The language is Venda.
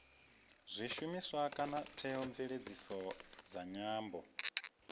zwishumiswa kana theomveledziso dza nyambo